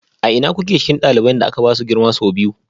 A ina kuke cikin ɗaliban da aka ba su girma sau biyu?